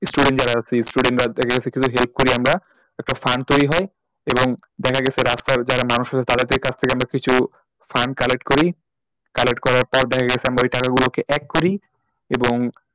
Student যারা আছি student দের থেকে help করি আমরা একটা fund তৈরি হয় এবং দেখে গেছে রাস্তার যারা মানুষ আছে তাদের কাছ থেকে আমরা কিছু fund collect করি collect করার পর দেখে গেছে আমরা ওই টাকা গুলোকে এক করি এবং